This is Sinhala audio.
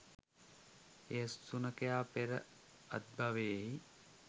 එම සුනඛයා පෙර අත්බවෙහි